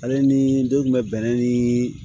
Ale ni den kun bɛ bɛnɛ ni